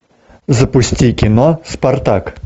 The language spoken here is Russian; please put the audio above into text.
запусти кино спартак